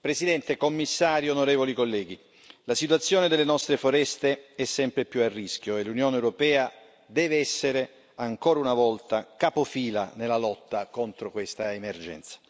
Presidente, signor Commissario, onorevoli colleghi, la situazione delle nostre foreste è sempre più a rischio e l'Unione europea deve essere, ancora una volta, capofila nella lotta contro questa emergenza.